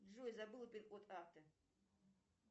джой забыла пин код карты